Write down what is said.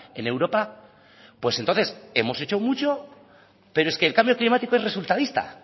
en europa pues entonces hemos hecho mucho pero es que el cambio climático es resultadista